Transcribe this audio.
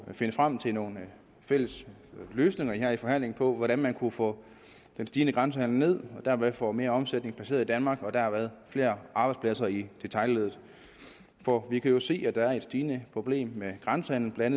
finde frem til nogle fælles løsninger her i forhandlingen på hvordan man kan få den stigende grænsehandel ned og dermed få mere omsætning placeret i danmark og derved flere arbejdspladser i detailleddet for vi kan jo se at der er et stigende problem med grænsehandelen